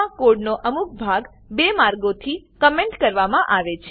Perl મા code નો અમુક ભાગ બે માર્ગોથી કમેન્ટ કરવામા આવે છે